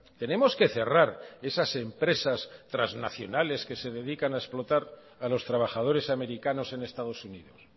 tenemos que cerrar esas empresas transnacionales que se dedican a explotar a los trabajadores americanos en estados unidos